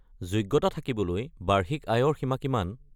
যোগ্যতা থাকিবলৈ বাৰ্ষিক আয়ৰ সীমা কিমান?